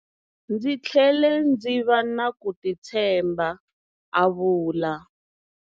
Ndzi tlhele ndzi va na ku titshemba, a vula.